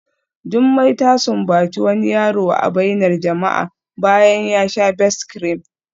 Jumai ta sumbaci wani yaro a bainar jama'a bayan ya sha Best-cream